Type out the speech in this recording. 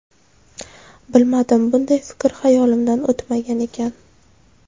Bilmadim, bunday fikr xayolimdan o‘tmagan ekan.